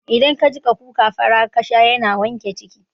Idan ka jiƙa kuka fara kasha yana wanke ciki